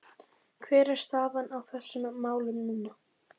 Hver er staðan á þessum málum núna?